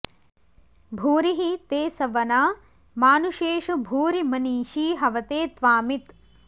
भूरि हि ते सवना मानुषेषु भूरि मनीषी हवते त्वामित्